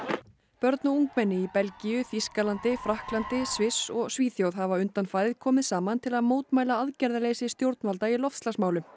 börn og ungmenni í Belgíu Þýskalandi Frakklandi Sviss og Svíþjóð hafa undanfarið komið saman til að mótmæla aðgerðaleysi stjórnvalda í loftslagsmálum